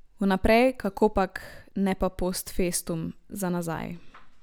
Vnaprej, kakopak, ne pa post festum, za nazaj.